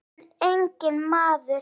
mun engi maður